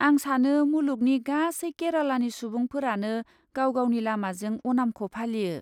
आं सानो मुलुगनि गासै केरालानि सुबुंफोरानो गाव गावनि लामाजों अनामखौ फालियो।